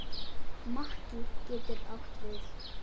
Makki getur átt við